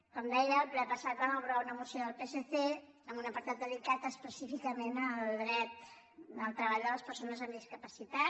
com deia el ple passat vam aprovar una moció del psc amb un apartat dedicat específicament al dret al treball de les persones amb discapacitat